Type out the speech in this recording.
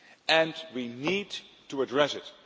And we need to address it.